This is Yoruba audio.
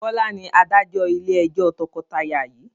Bọlá ni Adájọ́ ilé ẹjọ́ tọkọtaya yii